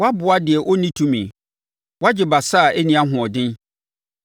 “Woaboa deɛ ɔnni tumi! Woagye basa a ɛnni ahoɔden!